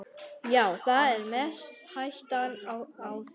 Já, það er mest hættan á því.